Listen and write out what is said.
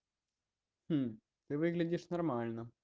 ты выглядишь нормально